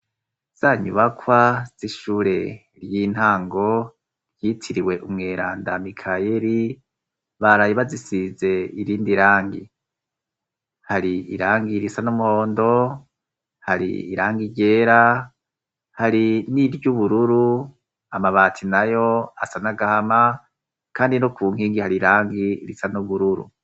Zanyubakwa z'ishure ry'intango, ryitiriwe umweranda mikayeri, baraye bazisize irindi rangi; hari irangi risa n'umuhondo, hari irangi ryera, hari n'iry'ubururu; amabati nayo asa n'agahama, kandi no ku nkingi hari irangi risa n'ubururu.